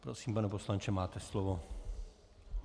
Prosím, pane poslanče, máte slovo.